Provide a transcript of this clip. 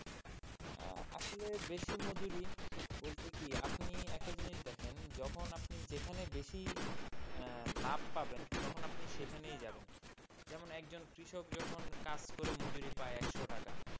আহ আসলে বেশি মজুরি বলতে কি আপনি একটা জিনিস দেখেন যখন আপনি যেখানে বেশি আহ লাভ পাবেন তখন আপনি সেখানেই যাবেন যেমন একজন কৃষক যখন কাজ করে মজুরি পায় একশো টাকা,